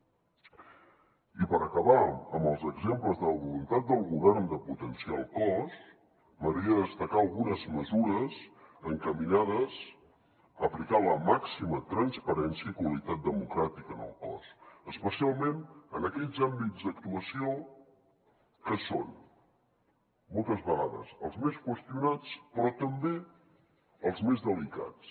i per acabar amb els exemples de la voluntat del govern de potenciar el cos m’agradaria destacar algunes mesures encaminades a aplicar la màxima transparència i qualitat democràtica en el cos especialment en aquells àmbits d’actuació que són moltes vegades els més qüestionats però també els més delicats